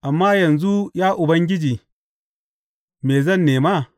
Amma yanzu, ya Ubangiji, me zan nema?